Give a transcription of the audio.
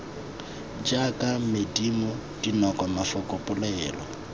jaaka medumo dinoko mafoko polelo